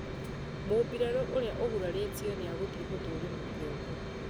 mũbirarũ urĩa ũguraritio nĩagũthiĩ gũthũrimwo kĩongo